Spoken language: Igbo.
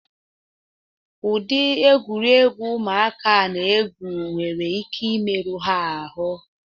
Udi egwuregwu ụmụaka a na-egwu nwere ike imeru ha ahụ